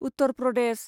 Uttar Pradesh